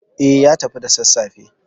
Eh, ya tafi da sassafe.